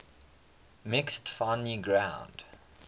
mixing finely ground